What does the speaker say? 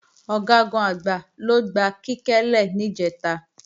Ọ̀gágun-Àgbá ló gba Kíkẹ́ lè níjẹ̀ta